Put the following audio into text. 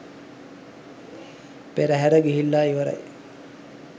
පෙරහැර ගිහිල්ලා ඉවරයි.